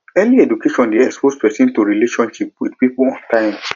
early education de expose persin to relationship with pipo on time